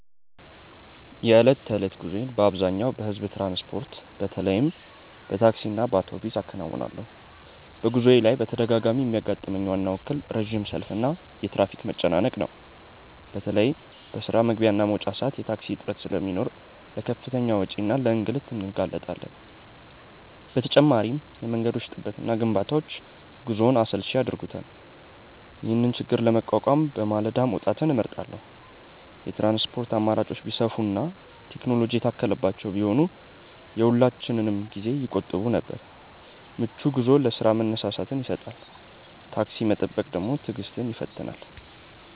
የዕለት ተዕለት ጉዞዬን በአብዛኛው በሕዝብ ትራንስፖርት፣ በተለይም በታክሲና በአውቶቡስ አከናውናለሁ። በጉዞዬ ላይ በተደጋጋሚ የሚያጋጥመኝ ዋናው እክል ረጅም ሰልፍና የትራፊክ መጨናነቅ ነው። በተለይ በስራ መግቢያና መውጫ ሰዓት የታክሲ እጥረት ስለሚኖር ለከፍተኛ ወጪና ለእንግልት እንጋለጣለን። በተጨማሪም የመንገዶች ጥበትና ግንባታዎች ጉዞውን አሰልቺ ያደርጉታል። ይህንን ችግር ለመቋቋም በማለዳ መውጣትን እመርጣለሁ። የትራንስፖርት አማራጮች ቢሰፉና ቴክኖሎጂ የታከለባቸው ቢሆኑ የሁላችንንም ጊዜ ይቆጥቡ ነበር። ምቹ ጉዞ ለስራ መነሳሳትን ይሰጣል። ታክሲ መጠበቅ ትዕግስትን ይፈትናል።